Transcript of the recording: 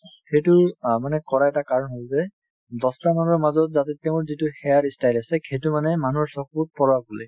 সেইটো অ মানে কৰাৰ এটা কাৰণ হ'ল যে দহটা মানুহৰ মাজত যাতে তেওঁৰ যিটো hair ই style আছে সেইটো মানে মানুহৰ চকুত পৰক বুলি